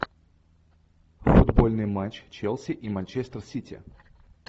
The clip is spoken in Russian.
футбольный матч челси и манчестер сити